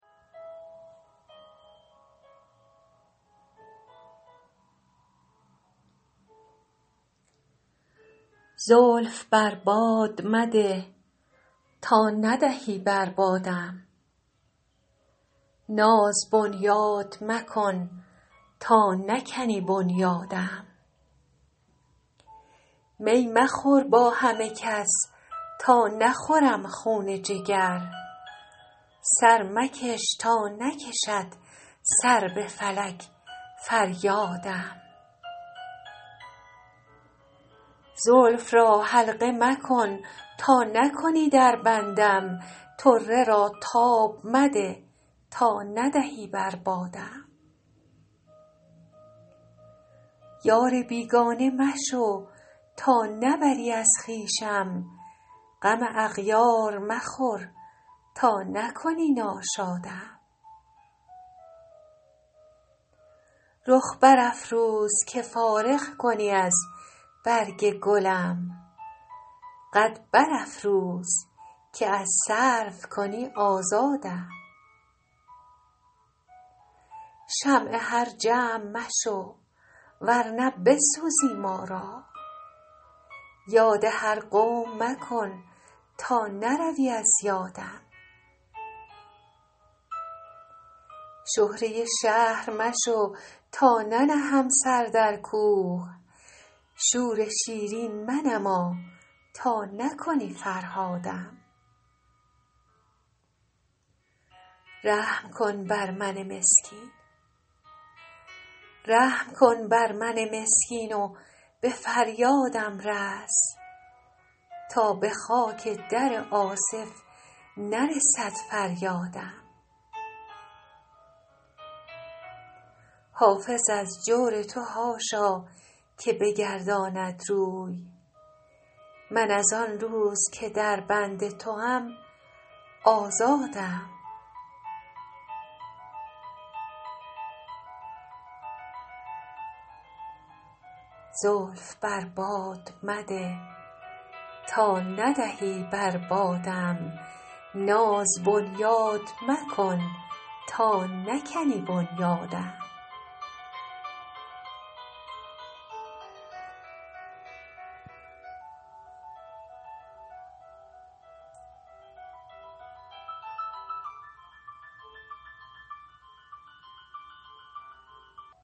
زلف بر باد مده تا ندهی بر بادم ناز بنیاد مکن تا نکنی بنیادم می مخور با همه کس تا نخورم خون جگر سر مکش تا نکشد سر به فلک فریادم زلف را حلقه مکن تا نکنی در بندم طره را تاب مده تا ندهی بر بادم یار بیگانه مشو تا نبری از خویشم غم اغیار مخور تا نکنی ناشادم رخ برافروز که فارغ کنی از برگ گلم قد برافراز که از سرو کنی آزادم شمع هر جمع مشو ور نه بسوزی ما را یاد هر قوم مکن تا نروی از یادم شهره شهر مشو تا ننهم سر در کوه شور شیرین منما تا نکنی فرهادم رحم کن بر من مسکین و به فریادم رس تا به خاک در آصف نرسد فریادم حافظ از جور تو حاشا که بگرداند روی من از آن روز که در بند توام آزادم